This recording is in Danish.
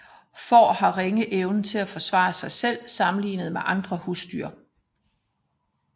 Får har ringe evne til at forsvare sig selv sammenlignet med andre husdyr